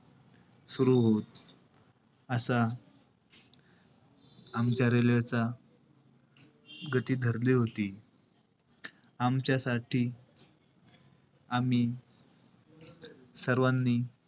सुरु होत. असा आमच्या railway चा गती धरली होती. आमच्यासाठी आम्ही सर्वानी,